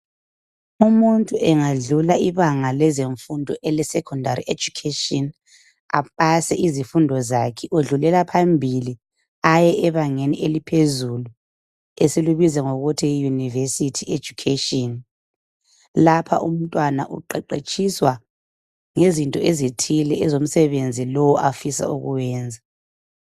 umuntu engadlula ibanga elezemfundo eze secondary education apase izifundo zakhe engadlulela phambili aye ebangeni eliphezulu esilubuza ngokuthi yi university education lapha umntwana uqeqetshiswa ngezinto ezithile ezomsebenzi lo afuna ukuwenza